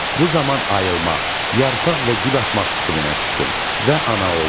Bu zaman ayılmaq, yarpaq və gül açmaq fikrinə düşdüm və ana oldum.